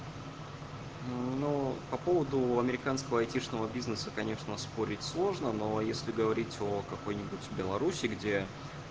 ну по поводу американского айтишного бизнеса конечно спорить сложно но если говорить о какой-нибудь в беларуси где